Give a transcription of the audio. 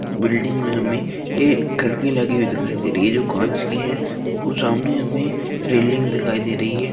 Building मे हमे एक खिड़की लगी हुई दिखाई दे रही है जो कांच की है वो सामने हमे रैलिंग दिखाई दे रही है।